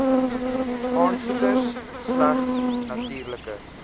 aansoeker slegs natuurlike